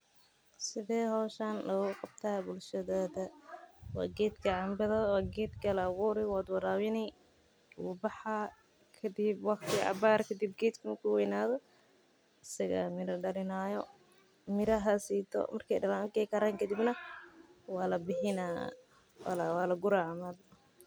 Sidee howshan loogu qabtaa bulshadada waa geedka la abuuri wuu baxaa mira ayuu dalaa kadib waa la guraa.